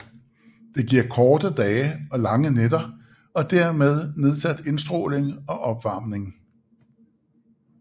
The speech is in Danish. Det giver korte dage og lange nætter og dermed nedsat indstråling og opvarmning